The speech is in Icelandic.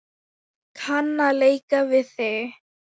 Kann að leika við þig.